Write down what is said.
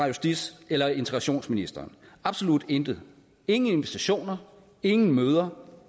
justits eller integrationsministeren absolut intet ingen invitationer ingen møder